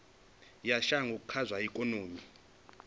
ya shango kha zwa ikonomi